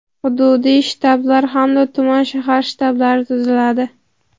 hududiy shtablar hamda tuman (shahar) shtablari tuziladi.